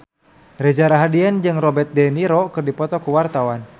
Reza Rahardian jeung Robert de Niro keur dipoto ku wartawan